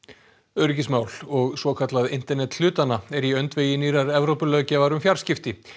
öryggismál og svokallað internet hlutanna er í öndvegi nýrrar Evrópulöggjafar um fjarskipti